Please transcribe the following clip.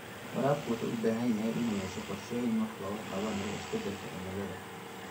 Waraabka wuxuu u baahan yahay inuu yeesho qorshooyin wax looga qabanayo isbeddelka cimilada.